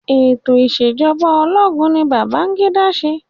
Ètò ìṣẹ̀jọba ológun ni Babangida ṣe.